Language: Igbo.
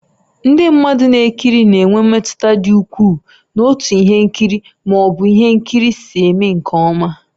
Ndị mmadụ na-ekiri na-enwe mmetụta dị ukwuu n'otú ihe nkiri ma ọ bụ ihe nkiri si eme nke ọma.